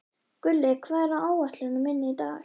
Gulli, hvað er á áætluninni minni í dag?